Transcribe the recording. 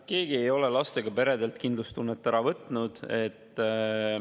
Keegi ei ole lastega peredelt kindlustunnet ära võtnud.